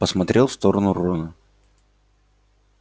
посмотрел в сторону рона